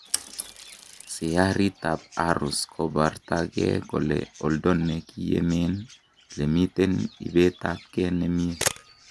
Syariit ab Aarows kobartakee ko oldo nekiyemen lemiten ibeet ab kee ne mie